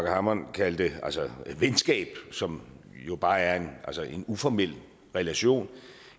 hammond kaldte et venskab som jo bare er en uformel relation